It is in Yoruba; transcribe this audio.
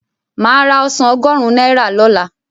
Máa ra ọsàn ọgọ́rùn-ún naira lola